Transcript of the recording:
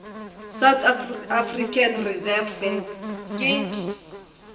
south african reserve bank ke